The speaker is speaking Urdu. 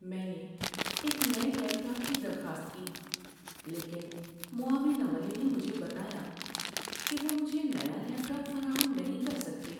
میں نے ایک نئے لیپ ٹاپ کی درخواست کی لیکن معاون عملے نے مجھے بتایا کہ وہ مجھے نیا لیپ ٹاپ فراہم نہیں کر سکتے۔